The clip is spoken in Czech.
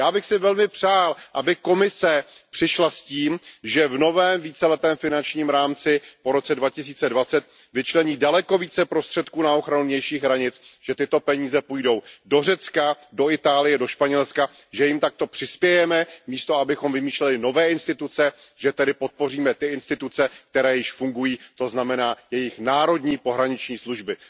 Já bych si velmi přál, aby Komise přišla s tím, že v novém víceletém finančním rámci po roce 2020 vyčlení daleko více prostředků na ochranu vnějších hranic, že tyto peníze půjdou do Řecka, do Itálie, do Španělska, že jim takto přispějeme místo toho, abychom vymýšleli nové instituce, že tedy podpoříme ty instituce, které již fungují, to znamená jejich národní pohraniční služby.